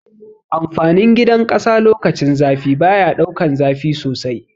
Amfanin gidan ƙasa lokacin zafi baya daukan zafi sosai